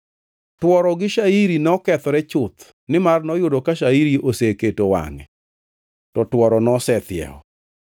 (Tworo gi shairi nokethore chuth, nimar noyudo ka shairi oseketo wangʼe, to tworo nosethiewo.